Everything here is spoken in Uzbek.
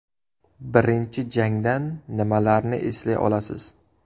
Birinchi jangdan nimalarni eslay olasiz?